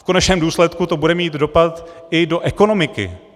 V konečném důsledku to bude mít dopad i do ekonomiky.